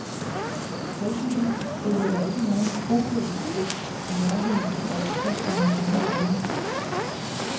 Heldigvis følger der ikke nogen bopælspligt i nærheden af et center med denne holdning.